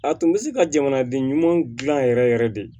A tun bɛ se ka jamanaden ɲumanw dilan yɛrɛ yɛrɛ yɛrɛ de